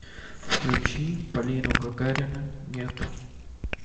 включи полину гагарину нет